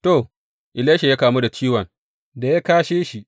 To, Elisha ya kamu da ciwon da ya kashe shi.